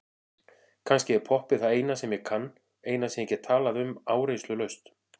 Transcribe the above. Kannski er poppið það eina sem ég kann, eina sem ég get talað um áreynslulaust.